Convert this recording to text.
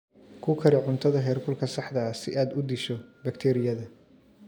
Ku kari cuntada heerkulka saxda ah si aad u disho bakteeriyada.